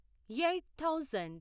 eight thousand